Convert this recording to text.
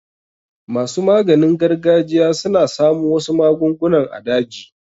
Masu maganin gargajiya suna samo wasu magunguna a daji.